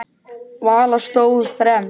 Vala stóð fremst.